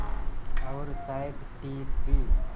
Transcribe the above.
और शायद ठीक भी